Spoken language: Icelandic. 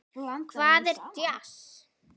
Hvað er djass?